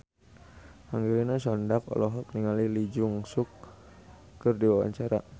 Angelina Sondakh olohok ningali Lee Jeong Suk keur diwawancara